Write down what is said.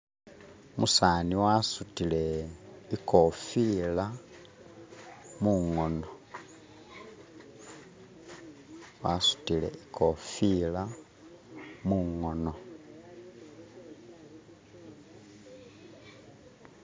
umsaani wasutile ikofila mungono